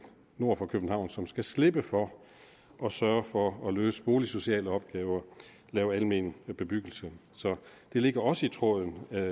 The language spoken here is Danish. nord for københavn som skal slippe for at sørge for at løse boligsociale opgaver lave almen bebyggelse så det ligger også i tråden af